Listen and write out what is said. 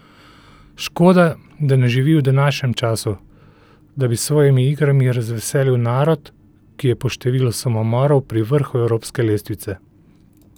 Škoda, da ne živi v današnjem času, da bi s svojimi igrami razveselil narod, ki je po številu samomorov pri vrhu evropske lestvice.